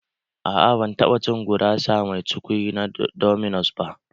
Aa, ban taɓa cin gurasa mai cukwi na dominos ba